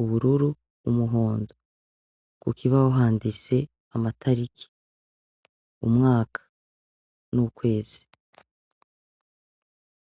ubururu umuhondo kuk ibaho handise amatariki umwaka ni ukwezi.